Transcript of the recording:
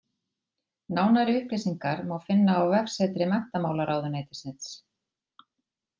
Nánari upplýsingar má finna á vefsetri Menntamálaráðuneytisins.